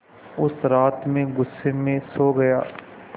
उस रात मैं ग़ुस्से में सो गया